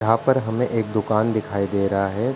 यहाँ पर हमें एक दुकान दिखाई दे रहा है।